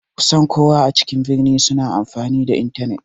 Kusan kowa a cikin birni suna amfani da intanet.